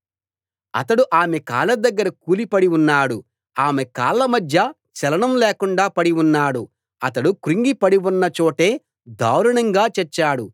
అతడు ఆమె కాళ్ల దగ్గర కూలిపడి ఉన్నాడు ఆమె కాళ్ల మధ్య చలనం లేకుండా పడి ఉన్నాడు అతడు క్రుంగి పడి ఉన్న చోటే దారుణంగా చచ్చాడు